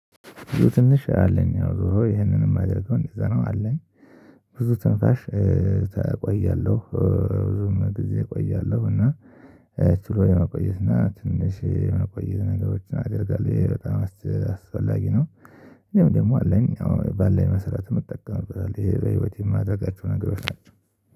ብዙ ትንሽ አለኝ ያው ዞሮ ይሄንንም ማደረገው እዛ ነው አለኝ። ብዙ ትንፋሽ እቆያለሁ ብዙ ጊዜ እቆያለው እና ችሎ የመቆየት እና ትንሽ የመቆየት ነገሮችን አደርጋለሁ ይሄ በጣም አስፈላጊ ነው። ደግሞ ደግሞ አለኝ አሁን ባለን መሰረት የምትጠቀምበት ይሄ በህይወቴ የማደርጋቸው ነገሮች ናቸው።